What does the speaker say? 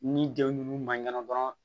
Ni denw ninnu ma ɲɛna dɔrɔn